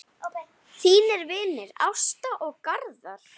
Þínir vinir, Ásta og Garðar.